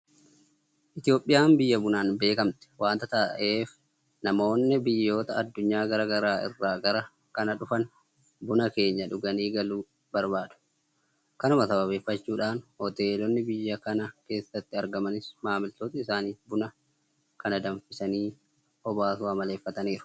Itoophiyaan biyya bunaan beekamte waanta ta'eef namoonni biyyoota addunyaa garaa garaa irraa gara kana dhufan Buna keenya dhuganii galuu barbaadu. Kanuma sababeeffachuudhaan Hoteelonni biyya kana keessatti argamanis maamiloota isaaniitiif buna kana danfisanii obaasuu amaleeffataniiru.